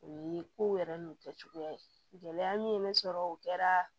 O ye kow yɛrɛ n'u kɛcogoya ye gɛlɛya min ye ne sɔrɔ o kɛra